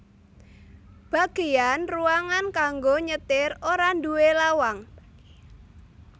Bagéyan ruangan kanggo nyetir ora nduwé lawang